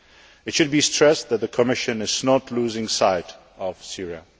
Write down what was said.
It should be stressed that the Commission is not losing sight of Syria.